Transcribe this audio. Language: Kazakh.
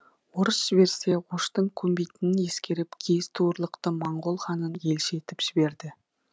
орыс жіберсе оштың көнбейтінін ескеріп киіз туырлықты моңғол ханын елші етіп жіберді